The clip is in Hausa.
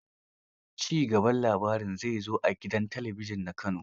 Ci gaban labarin zai zo a gidan talabijin na Kano.